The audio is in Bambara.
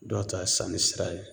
Dɔw ta ye sanni sira ye